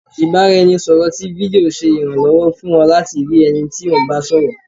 ibaraẹnisọrọ tí fídío ṣe iranlọwọ fún ọ latí rii ẹni tí o ń bá sọrọ.